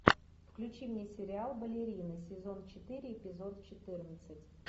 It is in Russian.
включи мне сериал балерины сезон четыре эпизод четырнадцать